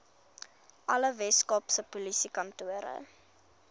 alle weskaapse polisiekantore